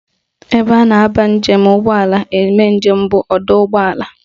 Ebe a na-abanye ụgbọala eme njem bụ n'ọdọụgbọelu